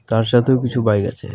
তার সাথেও কিছু বাইক আছে .